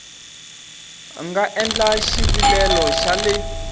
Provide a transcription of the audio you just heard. nga endla xivilelo xa le